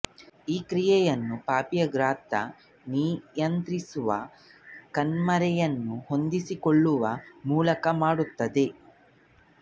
ಈ ಕ್ರಿಯೆಯನ್ನು ಪಾಪೆಯ ಗಾತ್ರ ನಿಯಂತ್ರಿಸುವ ಕಣ್ಪೊರೆಯನ್ನು ಹೊಂದಿಸಿಕೊಳ್ಳುವ ಮೂಲಕ ಮಾಡುತ್ತದೆ